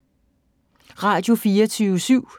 Radio24syv